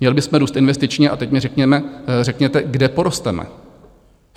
Měli bychom růst investičně, a teď mi řekněte, kde porosteme.